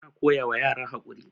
ana koyawa yara haƙuri